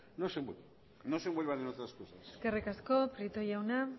no se envuelvan no se envuelvan en otras cosas eskerrik asko prieto jauna